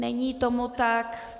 Není tomu tak.